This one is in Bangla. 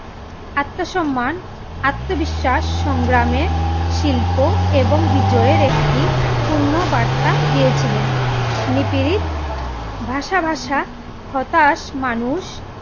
আত্মসম্মান, আত্মবিশ্বাস সংগ্রামে শিল্প এবং বিজয়ের একটি পূর্ণ বার্তা দিয়েছিলেন। নিপীড়িত ভাষাভাষা হতাশ মানুষ